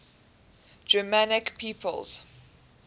germanic peoples